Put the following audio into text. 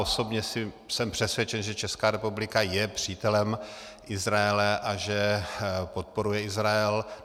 Osobně jsem přesvědčen, že Česká republika je přítelem Izraele a že podporuje Izrael.